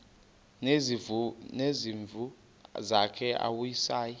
nezimvu zakhe awusayi